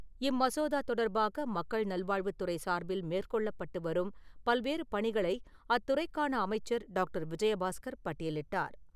இம்மசோதா தொடர்பாக மக்கள் நல்வாழ்வுத் துறை சார்பில் மேற்கொள்ளப்பட்டு வரும் பல்வேறு பணிகளை அத்துறைக்கான அமைச்சர் டாக்டர் விஜயபாஸ்கர் பட்டியலிட்டார்.